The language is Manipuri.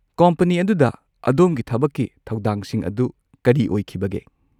ꯀꯣꯝꯄꯅꯤ ꯑꯗꯨꯗ ꯑꯗꯣꯝꯒꯤ ꯊꯕꯛꯀꯤ ꯊꯧꯗꯥꯡꯁꯤꯡ ꯑꯗꯨ ꯀꯔꯤ ꯑꯣꯏꯈꯤꯕꯒꯦ?